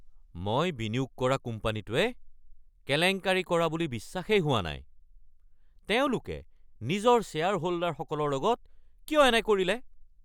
মই বিনিয়োগ কৰা কোম্পানীটোৱে কেলেংকাৰী কৰা বুলি বিশ্বাসেই হোৱা নাই। তেওঁলোকে নিজৰ শ্বেয়াৰহোল্ডাৰসকলৰ লগত কিয় এনে কৰিলে?